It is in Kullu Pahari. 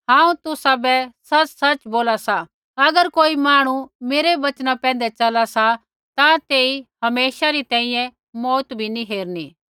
हांऊँ तुसाबै सच़सच़ बोला सा अगर कोई मांहणु मेरै वचना पैंधै चला सा ता तेइबै हमेशे री तैंईंयैं मौऊत भी नैंई हेरणी